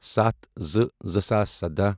ستھَ زٕ زٕ ساس سدَہ